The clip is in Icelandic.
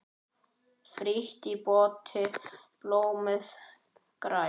Frítt í potti blómið grær.